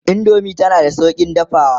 indomie tana da saukin dafawa